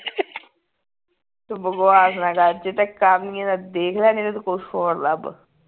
ਤੂੰ ਬਕਵਾਸ ਨਾ ਕਰ ਜੇ ਤੇ ਕਰਨੀ ਏ ਤਾਂ ਦੇਖ ਲੈ ਨਹੀਂ ਤੇ ਤੂੰ ਕੁਸ਼ ਹੋਰ ਲੱਭ